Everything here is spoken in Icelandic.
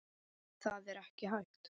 Það er ekki hægt